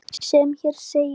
sem hér segir